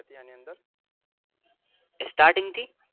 Starting થી